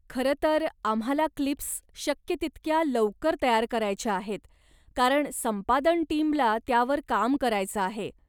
खरंतर आम्हाला क्लिप्स शक्य तितक्या लवकर तयार करायच्या आहेत कारण संपादन टीमला त्यावर काम करायचं आहे.